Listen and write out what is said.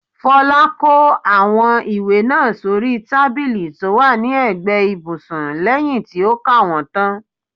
Folá kó àwọn ìwé náà sóri tábìlì tó wà ní ẹ̀gbẹ́ ibùsùn lẹyìn tí ó ka wọ́n tán.